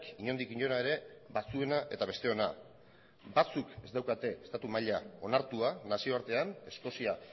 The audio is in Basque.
inondik inora ere batzuena eta besteona batzuk ez daukate estatu maila onartua nazioartean eskozia